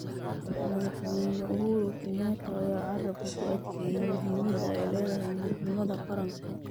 Madaxweyne Uhuru Kenyatta ayaa carabka ku adkeeyay muhiimada ay leedahay midnimada qaranka.